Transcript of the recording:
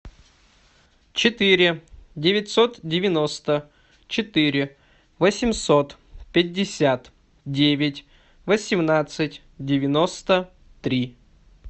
четыре девятьсот девяносто четыре восемьсот пятьдесят девять восемнадцать девяносто три